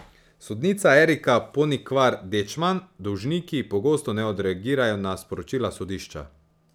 Sodnica Erika Ponikvar Dečman: 'Dolžniki pogosto ne odreagirajo na sporočila sodišča.